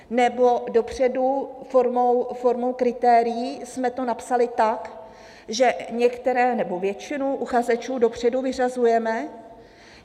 Nebo dopředu formou kritérií jsme to napsali tak, že některé, nebo většinu uchazečů, dopředu vyřazujeme?